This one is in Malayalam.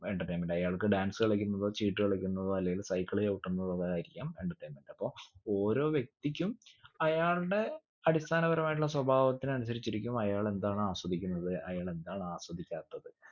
entertainment അയാൾക്ക് dance കളിക്കുന്നതോ ചീട്ട് കളിക്കുന്നതോ അല്ലെങ്കിൽ cycle ചവിട്ടുന്നതോ എന്നതായിരിക്കാം entertainment അപ്പൊ ഓരോ വ്യക്തിക്കും അയാളുടെ അടിസ്ഥാനപരമായിട്ടുള്ള സ്വഭാവത്തിന് അനുസരിച്ചിട്ടിരിക്കും ആയാളെന്താണൊ ആസ്വദിക്കുന്നത് അയാളെന്താണ് ആസ്വദിക്കാത്തത്